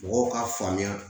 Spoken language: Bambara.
Mɔgɔw k'a faamuya